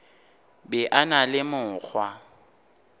be a na le mokgwa